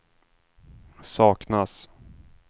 saknas